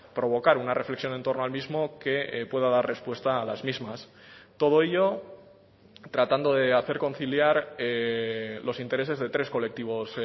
provocar una reflexión en torno al mismo que pueda dar respuesta a las mismas todo ello tratando de hacer conciliar los intereses de tres colectivos